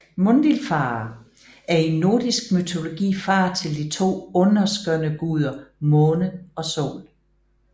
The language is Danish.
Mundilfare er i nordisk mytologi far til de to underskønne guder Måne og Sol